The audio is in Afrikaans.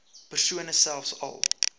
persone selfs al